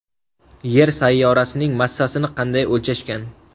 Yer sayyorasining massasini qanday o‘lchashgan?.